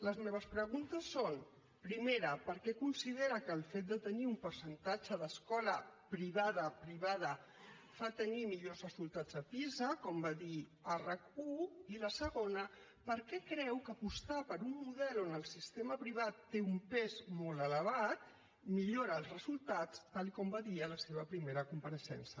les meves preguntes són primera per què considera que el fet de tenir un percentatge d’escola privada privada fa tenir millors resultats a pisa com va dir a rac1 i la segona per què creu que apostar per un model on el sistema privat té un pes molt elevat millora els resultats tal com va dir en la seva primera compareixença